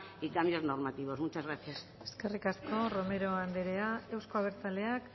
y cambios normativos muchas gracias eskerrik asko romero anderea euzko abertzaleak